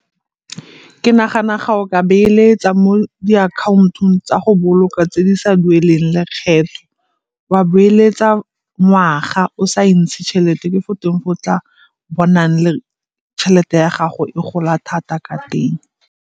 Ke nagana ga o ka beeletsa mo diakhantong tsa go boloka tse di sa dueleng lekgetho, wa boeletsa ngwaga o sa e ntshe tšhelete ke go teng go tla bonang le tšhelete ya gago e gola thata ka teng.